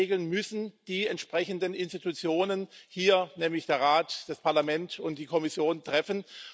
Diese Regeln müssen die entsprechenden Organe hier, nämlich der Rat, das Parlament und die Kommission, treffen.